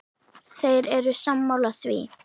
Þeir eru sammála því.